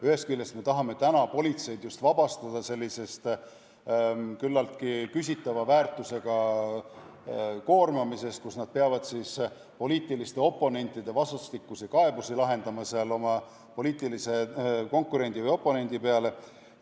Ühest küljest tahame täna politseid just vabastada sellisest küllaltki küsitava väärtusega koormast, mille käigus peavad nad lahendama poliitiliste oponentide esitatud vastastikuseid kaebusi oma poliitilise konkurendi või oponendi peale.